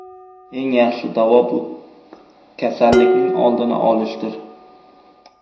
Eng yaxshi davo bu kasallikning oldini olishdir.